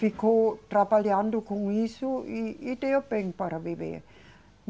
Ficou trabalhando com isso e, e deu bem para viver.